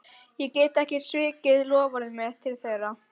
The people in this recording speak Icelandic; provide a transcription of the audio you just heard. Ég get ekki svikið loforð mitt til þeirra.